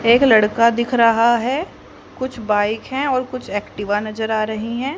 एक लड़का दिख रहा है कुछ बाइक है और कुछ एक्टिवा नजर आ रही है।